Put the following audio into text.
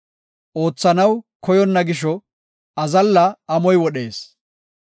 Oothanaw koyonna gisho azalla amoy wodhees.